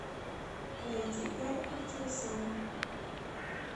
найди гарик мартиросян